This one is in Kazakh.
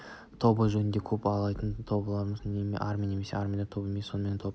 тобыр жөнінде көп айтылуда тобыр дегеніміз не тобыр армия емес армия да тобыр емес сонымен топ